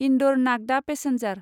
Indore Nagda passenger